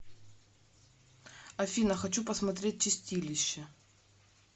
афина хочу посмотреть чистилище